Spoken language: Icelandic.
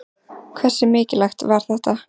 Hversu mikilvægt var þetta?